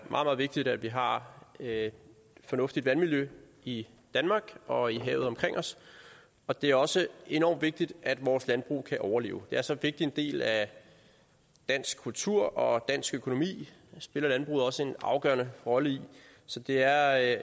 meget vigtigt at vi har et fornuftigt vandmiljø i danmark og i havet omkring os og det er også enormt vigtigt at vores landbrug kan overleve det er så vigtig en del af dansk kultur og dansk økonomi spiller landbruget også en afgørende rolle i så det er